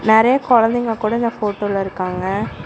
நெறைய கொழந்தைங்க கூட இந்த போட்டோல இருக்காங்க.